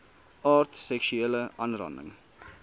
aard seksuele aanranding